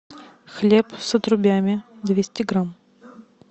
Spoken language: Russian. хлеб с отрубями двести грамм